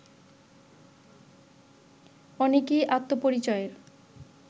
অনেকেই আত্মপরিচয়ের